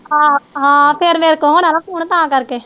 ਆਹੋ ਹਾਂ ਫਿਰ ਮੇਰੇ ਕੋ ਹੋਣਾ ਨਾ ਫੋਨ ਤਾ ਕਰਕੇ।